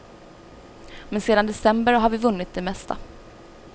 Men sedan december har vi vunnit det mesta.